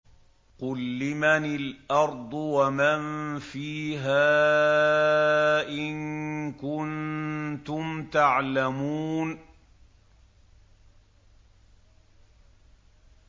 قُل لِّمَنِ الْأَرْضُ وَمَن فِيهَا إِن كُنتُمْ تَعْلَمُونَ